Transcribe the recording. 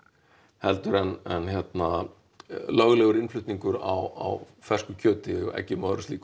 heldur en hérna löglegur innflutningur á fersku kjöti eggjum og öðru slíku